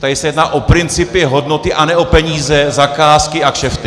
Tady se jedná o principy, hodnoty, a ne o peníze, zakázky a kšefty.